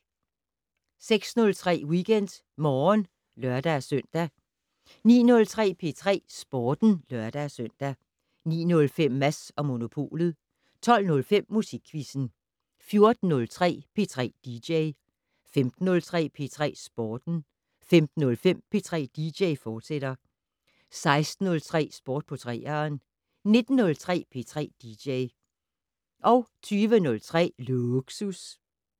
06:03: WeekendMorgen (lør-søn) 09:03: P3 Sporten (lør-søn) 09:05: Mads & Monopolet 12:05: Musikquizzen 14:03: P3 dj 15:03: P3 Sporten 15:05: P3 dj, fortsat 16:03: Sport på 3'eren 19:03: P3 dj 20:03: Lågsus